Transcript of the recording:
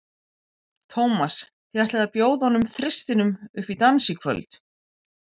Tómas, þið ætlið að bjóða hinum þristinum upp í dans í kvöld?